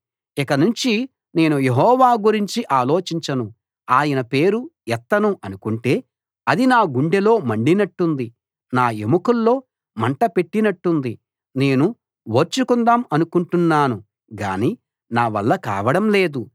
ఇక నుంచి నేను యెహోవా గురించి ఆలోచించను ఆయన పేరు ఎత్తను అనుకుంటే అది నా గుండెలో మండినట్టుంది నా ఎముకల్లో మంట పెట్టినట్టుంది నేను ఓర్చుకుందాం అనుకుంటున్నాను గానీ నావల్ల కావడం లేదు